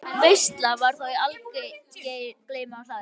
Veisla var þá í algleymi á hlaði.